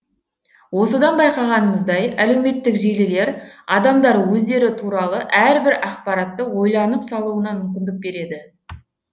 осыдан байқағанымыздай әлеуметтік желілер адамдар өздері туралы әрбір ақпаратты ойланып салуына мүмкіндік береді